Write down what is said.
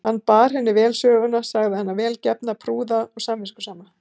Hann bar henni vel söguna, sagði hana vel gefna, prúða og samviskusama.